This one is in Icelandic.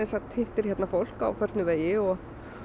hittir hérna fólk á förnum vegi og